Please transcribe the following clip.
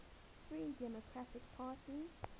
free democratic party